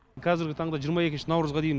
қазіргі таңда жиырма екінші наурызға дейін